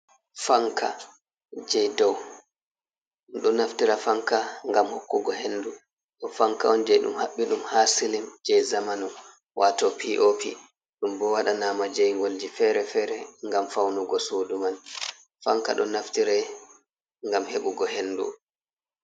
Fanka, je dou, ɗo naftira fanka gam hokkugo henduu, ɗoo fanka on je ɗum habbi ɗum ha silin je zamanu watoo (POP), ɗum bo wadanama jaigolji fere-fere gam faunugo suuduu man, fanka ɗo naftira gam hebugo hendu.